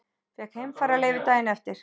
Fékk heimfararleyfi daginn eftir.